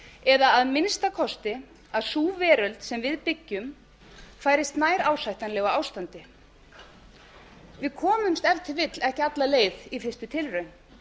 eða að minnsta kosti að sú veröld sem við byggjum færist nær ásættanlegu ástandi við komumst ef til vill ekki alla leið í fyrstu tilraun